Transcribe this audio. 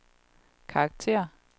karakter